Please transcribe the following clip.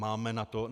Máme na to.